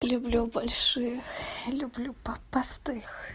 люблю больших люблю попастых